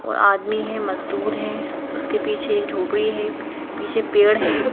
ओर आदमी है मजदूर है उसके पीछे एक झोपड़ी है पीछे पेड़ है।